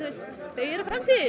eru framtíðin